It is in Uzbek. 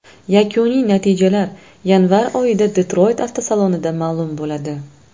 Yakuniy natijalar yanvar oyida Detroyt avtosalonida ma’lum bo‘ladi.